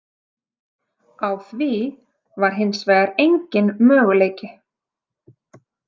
Á því var hins vegar enginn möguleiki.